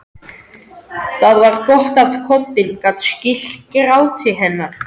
Það var gott að koddinn gat skýlt gráti hennar.